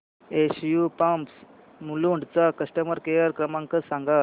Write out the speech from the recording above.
SU pumps Mulund चा customer care क्रमांक सांगा